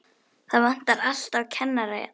Það vantar alltaf kennara hérna.